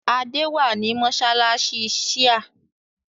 Adé wà ní mọ́ṣáláṣí Shia